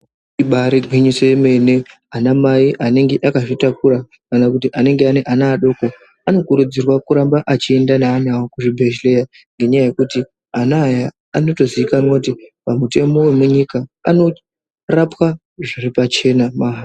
Ibaari gwinyiso yemene anamai anenge aka zvitakura kana kuti anenge ane ana adoko ano kurudzirwa kuramba achienda neana awo kuchi bhedhlera. Ngenyaya yekuti ana aya ano toziikanwa kuti pamutemo wemunyika anorapwa zviripachena, mahara.